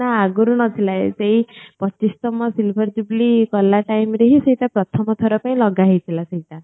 ନା ଆଗରୁ ନଥିଲା ଏ ସେଇ ପଚିସ ତମ silver jubilee କଲା time ରେ ହିଁ ସେଇଟା ପ୍ରଥମ ଥର ପାଇଁ ଲଗା ହେଇଥିଲା ସେଇଟା